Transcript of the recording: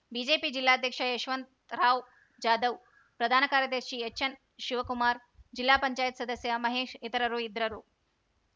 BJP ಜಿಲ್ಲಾಧ್ಯಕ್ಷ ಯಶವಂತರಾವ್‌ ಜಾಧವ್‌ ಪ್ರಧಾನ ಕಾರ್ಯದರ್ಶಿ ಎಚ್‌ಎನ್‌ಶಿವಕುಮಾರ ಜಿಲ್ಲಾ ಪಂಚಾಯತ್ ಸದಸ್ಯ ಮಹೇಶ ಇತರರು ಇದ್ದರು